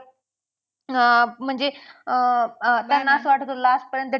अं म्हणजे अं त्यांना असं वाटत असल last पर्यंत